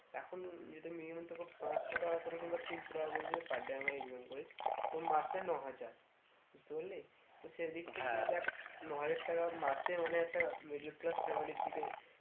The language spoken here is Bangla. এখন যদি নিয়মিত খুব পাঁচশো টাকা করে কিংবা তিনশো টাকা করে যদি per day আমরা income করি তো মাসে ন হাজার বুঝতে পারলি তো সেদিক থেকে দেখ ন হাজার টাকা মাসে মানে একটা middle class family র দিকে